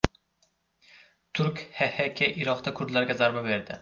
Turk HHK Iroqda kurdlarga zarba berdi.